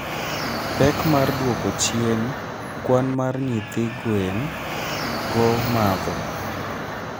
Pek mar dwoko chien kwan mar nyithi gwen go matho.